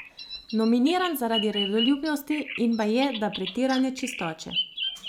Nominiran zaradi redoljubnosti in baje da pretirane čistoče.